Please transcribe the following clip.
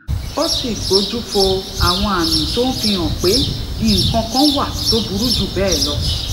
ó sì gbójú fo àwọn àmì tó ń fi hàn pé nǹkan kan wà tó burú jù béè lọ